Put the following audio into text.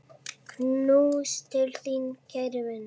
Knús til þín, kæri vinur.